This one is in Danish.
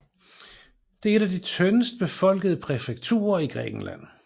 Det er et af de tyndest befolkede præfekturer i Grækenland